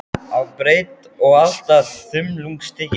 á breidd og allt að þumlungsþykkir.